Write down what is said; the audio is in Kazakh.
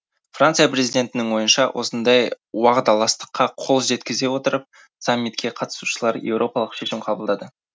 франция президентінің ойынша осындай уағдаластыққа қол жеткізе отырып саммитке қатысушылар еуропалық шешім қабылдады